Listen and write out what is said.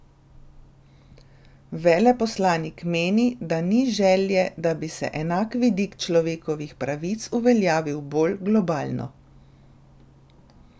Veleposlanik meni, da ni želje, da bi se enak vidik človekovih pravic uveljavil bolj globalno.